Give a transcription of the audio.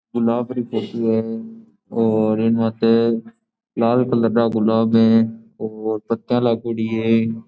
गुलाब री फोटो है और इनमाते लाल कलर रा गुलाब है और पत्तियां लागोड़ी है।